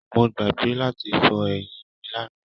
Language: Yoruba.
Mo gbàgbé láti fọ eyin mí lana.